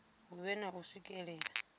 hu vhe na u swikelela